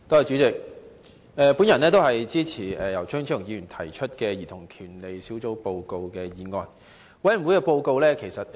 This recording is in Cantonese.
主席，我也支持由張超雄議員提出的"兒童權利小組委員會的報告"議案。